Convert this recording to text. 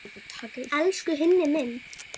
Elsku Hinni minn.